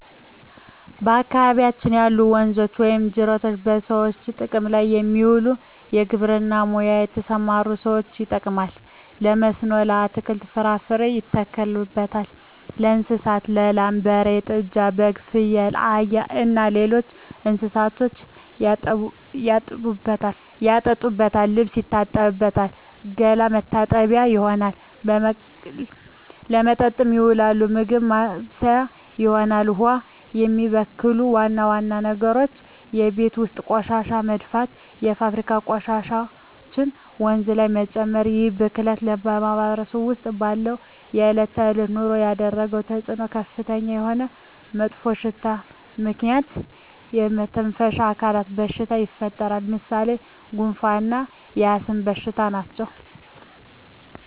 በአካባቢያችን ያሉ ወንዞች ወይም ጅረቶች በሰዎች ጥቅም ላይ የሚውለው በግብርና ሙያ ለተሠማሩ ሠዎች ይጠቅማል። በመስኖ አትክልትን፣ ፍራፍሬ ያተክሉበታል። ለእንስሳት ላም፣ በሬ፣ ጥጃ፣ በግ፣ ፍየል፣ አህያ እና ሌሎች እንስሶችን ያጠጡበታል፣ ልብስ ይታጠብበታል፣ ገላ መታጠቢያነት ይሆናል። ለመጠጥነት ይውላል፣ ምግብ ማብሠያ ይሆናል። ውሃውን የሚበክሉ ዋና ዋና ነገሮች የቤት ውስጥ ቆሻሻ መድፋት፣ የፋብሪካ ቆሻሾችን ወንዙ ጋር መጨመር ይህ ብክለት በማህበረሰባችን ውስጥ ባለው የዕለት ተዕለት ኑሮ ላይ ያደረሰው ተፅዕኖ ከፍተኛ የሆነ መጥፎሽታ በዚህ ምክንያት የመተነፈሻ አካል በሽታዎች ይፈጠራሉ። ለምሣሌ፦ ጉንፋ እና የአስም በሽታ ናቸው።